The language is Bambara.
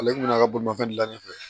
Ale tun bɛna ka bolimafɛn de dilan ni